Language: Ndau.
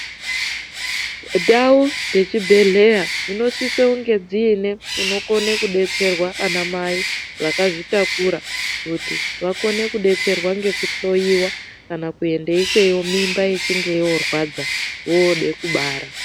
Ndaj dzechibhehkera dzinosisa kunge dziine kuno kone kudetserwa ana mai vakadzitakura kuti vakone kudetserwa neku hloyiwa kana kuende ikweyo mimba ichinge yorwadza vode kubara.